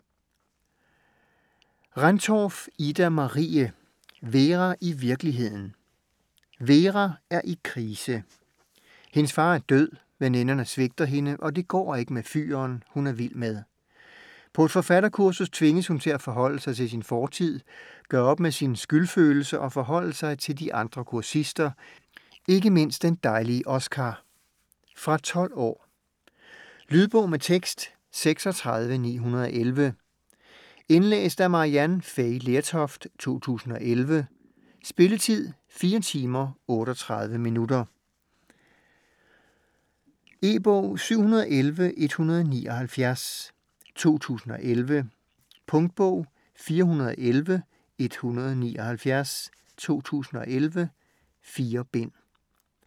Rendtorff, Ida-Marie: Vera i virkeligheden Vera er i krise: hendes far er død, veninderne svigter hende, og det går ikke med fyren, hun er vild med. På et forfatterkursus tvinges hun til at forholde sig til sin fortid, gøre op med sin skyldfølelse og forholde sig til de andre kursister, ikke mindst den dejlige Oskar. Fra 12 år. Lydbog med tekst 36911 Indlæst af Maryann Fay Lertoft, 2011. Spilletid: 4 timer, 38 minutter. E-bog 711179 2011. Punktbog 411179 2011. 4 bind.